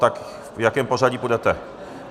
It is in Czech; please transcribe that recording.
Tak v jakém pořadí půjdete?